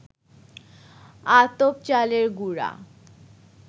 আতপ চালের গুড়া